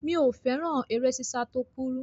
Mi ò fẹ́ràn eré sísá tó kúrú.